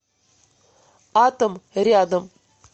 атом рядом